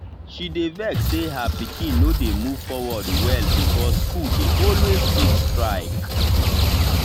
she dey vex say her pikin no dey move forward well because school dey always get strike.